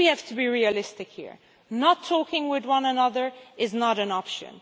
I think we have to be realistic here not talking with one another is not an option.